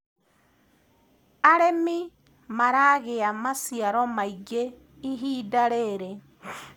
arĩmi maragia maciaro maĩngi ihinda riri